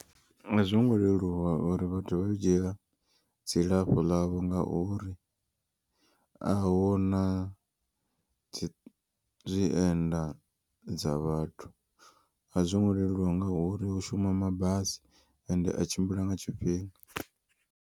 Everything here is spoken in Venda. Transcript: A zwo ngo leluwa uri vhathu vha dzhiela dzilafho ḽavho. Ngauri ahuna dzi zwienda dza vhathu a zwongo leluwa ngauri hu shuma mabasi ende a tshimbila nga tshifhinga.